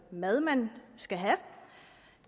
mad man skal have